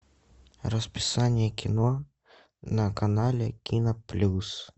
расписание кино на канале кино плюс